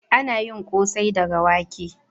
Ana yin kosai daga wake